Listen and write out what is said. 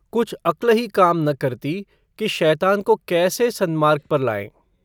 कुछ अक्ल ही काम न करती कि शैतान को कैसे सन्मार्ग पर लाएँ।